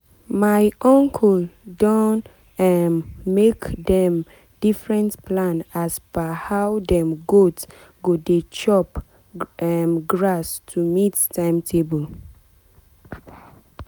my uncle don um make different plan as per how dem goat go dey chop um grass to meet timetable.